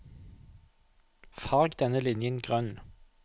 Farg denne linjen grønn